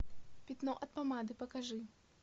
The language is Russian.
пятно от помады покажи